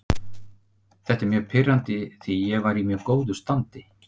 Þetta er mjög pirrandi því ég var í mjög góðu standi.